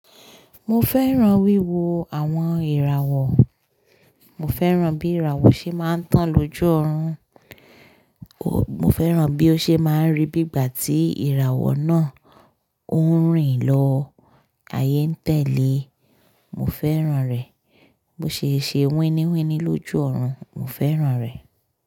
Mo fẹ́ran wíwo àwọn ìràwọ̀. Mo fẹ́ran bí ìràwọ̀ ṣe máa ń tàn lójú ọ̀run. Mo fẹ́ran bí ó ṣe máa ń rì bí ìgbà tí ìràwọ̀ náà ó ń rìn lọ, ayé ń tẹ̀lé. Mo fẹ́ran rẹ̀. Bo ṣe é ṣe winiwini lójú ọ̀run. Mo fẹ́ran rẹ̀.